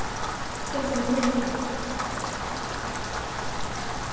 Hjá þeim Lenu.